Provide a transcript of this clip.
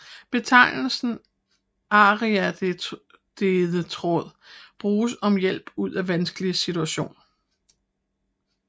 Betegnelsen ariadnetråd bruges om hjælp ud af vanskelig situation